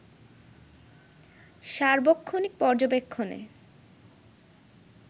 সার্বক্ষণিক পর্যবেক্ষণে